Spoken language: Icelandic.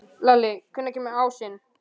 Lalli, hvenær kemur ásinn?